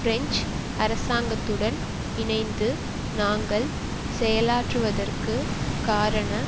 French அரசாங்கத்துடன் இணைந்து நாங்கள் செயலாற்றுவதற்கு காரண